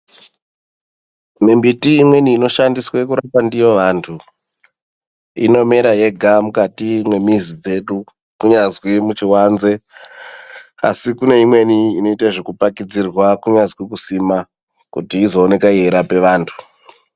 Mimbiti imweni inoshandiswe kurapa ndiyo antu inomera yega mukati mwemizi dzedu kunyazwi muchiwanze asikune imweni inoite zvekupakidzirwa kunyazi kusimwa kuti izoone kurape vantu.